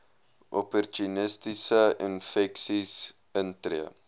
opportunistiese infeksies intree